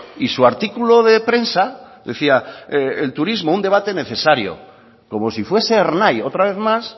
y su artículo de prensa decía el turismo un debate necesario como si fuese ernai otra vez más